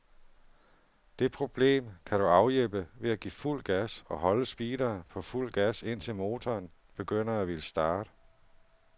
Det problem kan du afhjælpe ved at give fuld gas, og holde speederen på fuld gas indtil motoren begynder at ville starte.